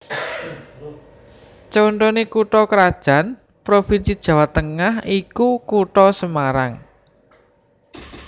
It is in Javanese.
Contoné kutha krajan provinsi Jawa Tengah iku Kutha Semarang